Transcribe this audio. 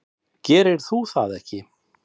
Gerir þú það ekki?